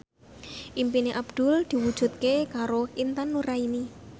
impine Abdul diwujudke karo Intan Nuraini